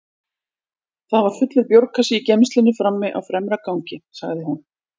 Það var fullur bjórkassi í geymslunni frammi á fremra gangi, sagði hún.